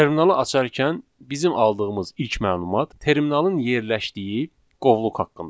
Terminalı açarkən bizim aldığımız ilk məlumat terminalın yerləşdiyi qovluq haqqındadır.